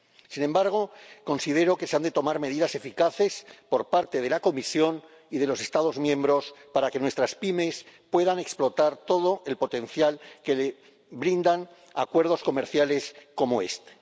Sin embargo, considero que se han de tomar medidas eficaces por parte de la Comisión y de los Estados miembros para que nuestras pymes puedan explotar todo el potencial que les brindan acuerdos comerciales como este.